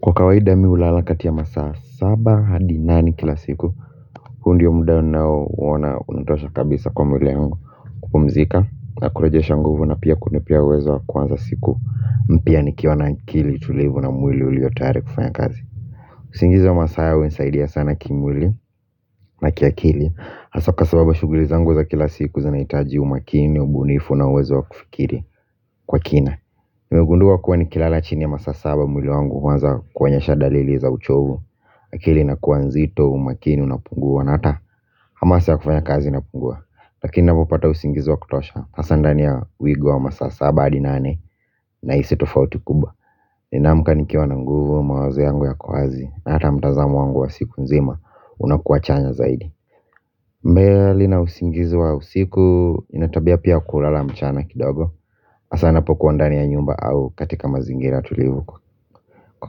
Kwa kawaida mi hulala kati ya masaa saba hadi nani kila siku huu ndio muda ninao uona unatosha kabisa kwa mwili yangu kupumzika na kurejesha nguvu na pia kunipea uwezo wa kuanza siku mpya nikiwa na akili tulivu na mwili uliyotayari kufanya kazi usingizi wa masaa unisaidia sana kimwili na kiakili hasa kwa sababu shughuli zangu za kila siku zanahitaji umakini ubunifu na uwezo wa kufikiri kwa kina nimegundua kuwa ni kilala chini ya masaa saba mwili wangu huanza kuonyesha dalili za uchovu. Akili ina kuwa nzito umakini unapungua na hata hamasa ya kufanya kazi inapungua. Lakini navyopopata usingizi wa kutosha hasa ndani ya wigo wa masaa saba hadi nane nahisi tofauti kubwa. Ninaamka nikiwa na nguvu mawazo yangu yako wazi na hata mtazamo wangu wa siku nzima unakuwa chanya zaidi Mbeeli na usingizi wa usiku nina tabia pia ya kulala mchana kidogo. Asa napokuwa ndani ya nyumba au katika mazingira tulivu. Kwa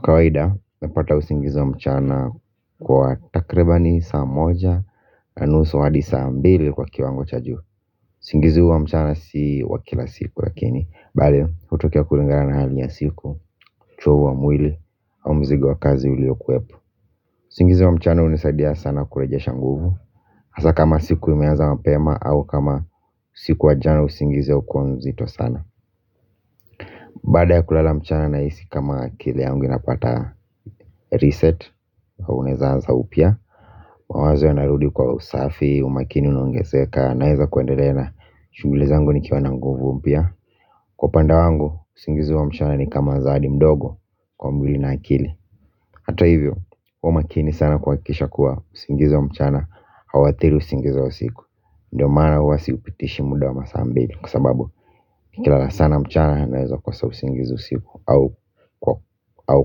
kawaida, nimepata usingizi wa mchana kwa takribani saa moja na nusu hadi saa mbili kwa kiwango cha juu usingizi huu wa mchana si wakila siku lakini bali, hutokea kulingana na hali ya siku uchovu wa mwili au mzigo wa kazi ulio kuwepo usingizi wa mchana unisaidia sana kureje shanguvu. Asa kama siku imeanza mapema au kama usiku wa jana usingizi haukuwa mzito sana baada ya kulala mchana nahisi kama akili yangu inapata reset na unaeza anza upya. Mawazo yanarudi kwa usafi, umakini unaongezeka. Naeza kuendelea na shughuli zangu ni kiwa na nguvu mpya. Kwa upande wangu, usingizi wa mchana ni kama zawadi mdogo kwa mwili na akili. Hata hivyo, huwa makini sana kuhakikisha kuwa usingizi wa mchana hauathiri usingizi wa usiku. Ndio maana huwa siupitishi mda wa masaa mbili. Kwa sababu, nikilala sana mchana naeza kosa usingizi usiku au kwa au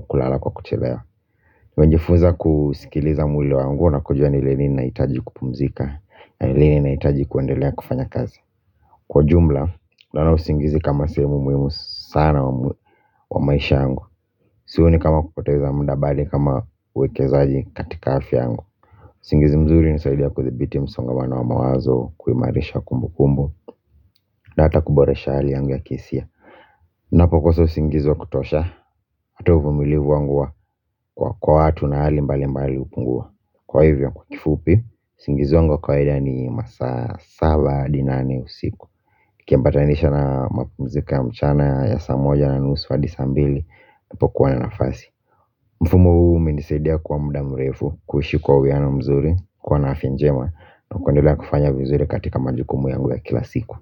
kulala kwa kuchelewa nimejifunza kusikiliza mwili wangu na kujua ni lini ninahitaji kupumzika. Na ni lini nahitaji kuendelea kufanya kazi. Kwa ujumla, naona usingizi kama sehemu muhimu sana kwa maisha yangu. Sioni kama kupoteza mda bali kama uwekezaji katika afya yangu. Usingizi mzuri unisaidia kuthibiti msongamana wa mawazo kuimarisha kumbu kumbu. Na hata kuboresha hali yangu ya kihisia. Napo kosa usingizi wa kutosha, hata uvumilivu wangu wa kwa kwa watu na hali mbali mbali upungua. Kwa hivyo kwa kifupi, usingizi wangu wa kawaida ni masaa saba hadi nane usiku ukiambatanisha na mapumziko ya mchana ya saa moja na nusu hadi saa mbili, napo kuwa na nafasi. Mfumo huu umenisadia kwa mda mrefu, kuishi kwa uwiano mzuri, kuwa na afya njema. Na kuendelea kufanya vizuri katika majukumu yangu ya kila siku.